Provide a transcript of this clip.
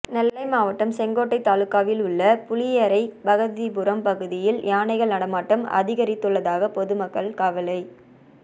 நெல்லை மாவட்டம் செங்கோட்டை தாலுகாவிலுள்ள புளியரை பகவதிபுரம் பகுதியில் யானைகள் நடமாட்டம் அதிகரித்துள்ளதாகக் பொதுமக்கள் கவலை